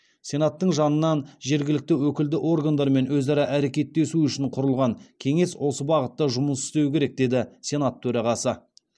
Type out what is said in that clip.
сенаттың жанынан жергілікті өкілді органдармен өзара әрекеттесу үшін құрылған кеңес осы бағытта жұмыс істеуі керек деді сенат төрағасы